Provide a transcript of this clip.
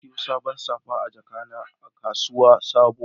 Na saƴi saɓon safa ma jiƙana a kasuwar sabo.